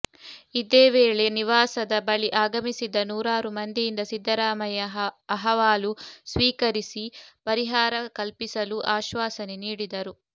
ಇದೇ ವೇಳೆ ನಿವಾಸದ ಬಳಿ ಆಗಮಿಸಿದ್ದ ನೂರಾರು ಮಂದಿಯಿಂದ ಸಿದ್ದರಾಮಯ್ಯ ಅಹವಾಲು ಸ್ವೀಕರಿಸಿ ಪರಿಹಾರ ಕಲ್ಪಿಸಲು ಆಶ್ವಾಸನೆ ನೀಡಿದರು